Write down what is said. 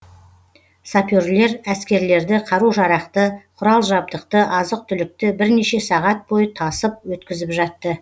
саперлер әскерлерді қару жарақты құрал жабдықты азық түлікті бірнеше сағат бойы тасып өткізіп жатты